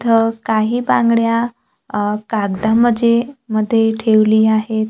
इथं काही बांगड्या अ कागदामजे मध्ये ठेवली आहेत.